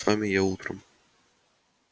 с вами я утром